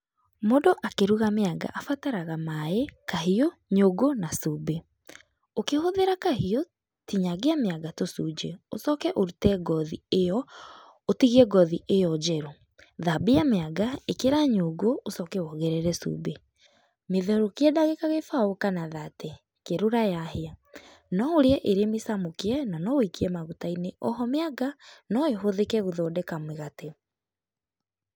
Mũndũ akĩruga mĩanga, abataraga maĩ, kahiũ, nyũngũ na cumbĩ. Ũkĩhũthĩra kahiũ, tinyangia mĩanga tũcunjĩ, ũcoke ũrute ngothi ĩo, ũtigie ngothi ĩo njerũ. Thambia mĩanga, ĩkĩra nyũngũ, ũcoke wongerere cumbĩ. Mĩtherũkie ndagĩka gĩbao kana thate, kerũra yahĩa.No ũrĩe ĩrĩ mĩcamũkie, na no ũikie maguta-inĩ.O ho mĩanga no ĩhũthĩke gũthondeka mũgate.